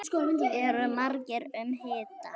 Og eru margir um hituna?